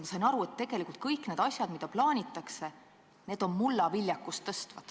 Ma sain aru, et kõik need asjad, mida plaanitakse, parandavad mullaviljakust.